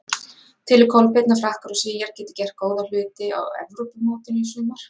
Telur Kolbeinn að Frakkar og Svíar geti gert góða hluti á Evrópumótinu í sumar?